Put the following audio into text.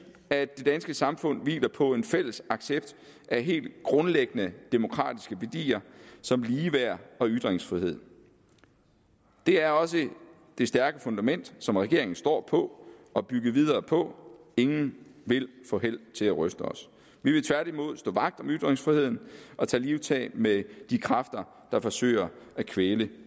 at det danske samfund hviler på en fælles accept af helt grundlæggende demokratiske værdier som ligeværd og ytringsfrihed det er også det stærke fundament som regeringen står på og bygger videre på ingen vil få held til at ryste os vi vil tværtimod stå vagt om ytringsfriheden og tage livtag med de kræfter der forsøger at kvæle